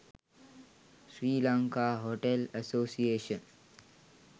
sri lanka hotel association